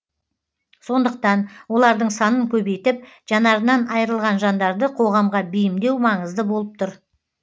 сондықтан олардың санын көбейтіп жанарынан айрылған жандарды қоғамға бейімдеу маңызды болып тұр